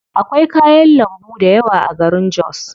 Akwai kayan lambu dayawa a garin jos.